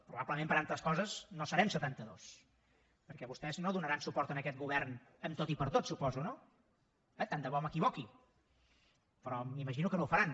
probablement per altres coses no serem setantados perquè vostès no donaran suport a aquest govern en tot i per tot suposo no tant de bo m’equivoqui però m’imagino que no ho faran